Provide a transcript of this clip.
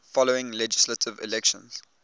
following legislative elections